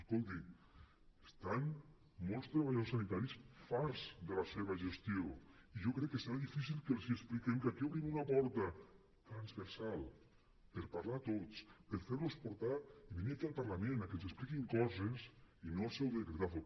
escolti’m estan molts treballadors sanitaris farts de la seva gestió i jo crec que serà difícil que els expliquem que aquí obrim una porta transversal per parlar tots per fer los portar i venir aquí al parlament que ens expliquin coses i no el seu decretazo